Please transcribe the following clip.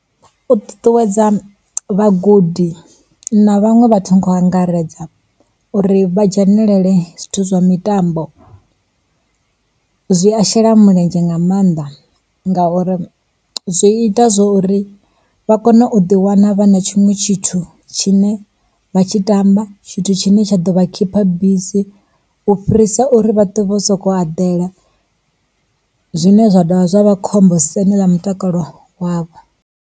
U ṱuṱuwedza vhagudi na vhaṅwe vhathu nga u angaredza uri vha dzhenelele zwithu zwa mitambo, zwi a shela mulenzhe nga maanḓa. Ngauri zwi ita zwa uri vha kone u ḓi wana vha na tshiṅwe tshithu tshine vha tshi tamba tshithu tshine tsha ḓo vha khipha bisi, u fhirisa uri vhaṱwe vho sokou aḓela zwine zwa dovha zwa vha khombo siani ḽa mutakalo wavho.